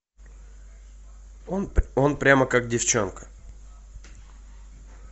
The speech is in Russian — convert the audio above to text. он прямо как девченка